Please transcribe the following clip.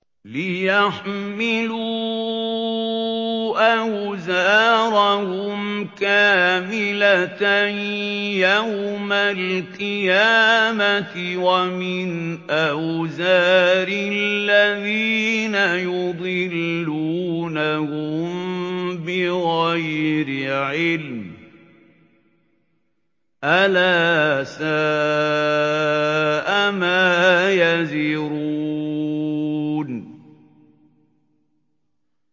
لِيَحْمِلُوا أَوْزَارَهُمْ كَامِلَةً يَوْمَ الْقِيَامَةِ ۙ وَمِنْ أَوْزَارِ الَّذِينَ يُضِلُّونَهُم بِغَيْرِ عِلْمٍ ۗ أَلَا سَاءَ مَا يَزِرُونَ